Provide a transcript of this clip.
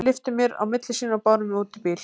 Þeir lyftu mér á milli sín og báru mig út í bíl.